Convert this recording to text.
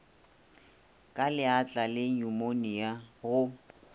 ka leatla le nyumonia go